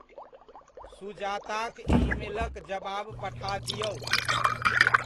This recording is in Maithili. सुजाताक ईमेलक जवाब पठा दिऔ।